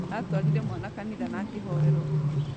Atwarire mwana kanitha na akĩhoerwo.